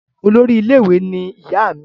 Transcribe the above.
olórí ilé ìwé ní ìyá mí